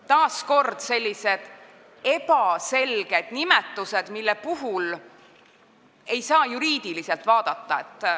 Taas kord näeme ebaselgeid nimetusi, mida ei saa juriidiliselt vaadata.